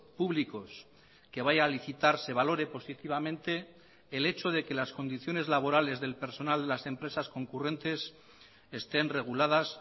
públicos que vaya a licitar se valore positivamente el hecho de que las condiciones laborales del personal de las empresas concurrentes estén reguladas